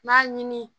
N b'a ɲini